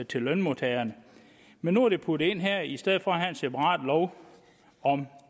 til lønmodtageren men nu er det puttet ind her i stedet for at der er en separat lov om